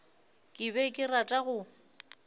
ke be ke rata go